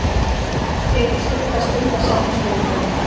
Tekur stutta stund að safna skuldum